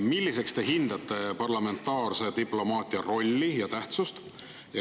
Milliseks te hindate parlamentaarse diplomaatia rolli ja tähtsust?